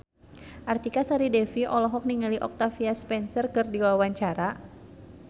Artika Sari Devi olohok ningali Octavia Spencer keur diwawancara